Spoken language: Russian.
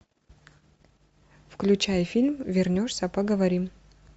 включай фильм вернешься поговорим